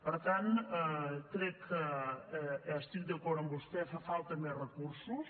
per tant crec que estic d’acord amb vostè fan falta més recursos